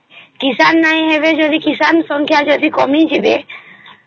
କିଷାନ ନାଇଁ ହେବେ ଯଦି କିଷାନ ସଂଖ୍ୟା ଯଦି କମିଯିବେ